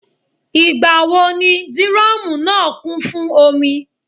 Ìgbà wo ni dírọ́mùù náà kún fún omi?